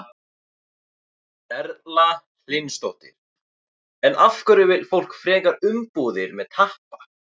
Erla Hlynsdóttir: En af hverju vill fólk frekar umbúðir með tappa?